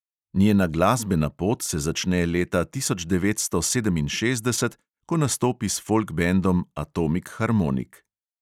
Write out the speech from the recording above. Njena glasbena pot se začne leta tisoč devetsto sedeminšestdeset, ko nastopi s folk bendom atomik harmonik.